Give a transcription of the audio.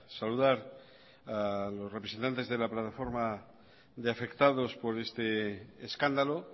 saludar a los representantes de la plataforma de afectados por este escándalo